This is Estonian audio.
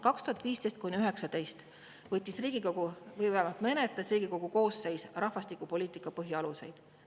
2015–2019 menetles Riigikogu koosseis rahvastikupoliitika põhialuseid.